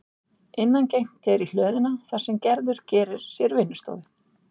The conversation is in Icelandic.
Innangengt er í hlöðuna þar sem Gerður gerir sér vinnustofu.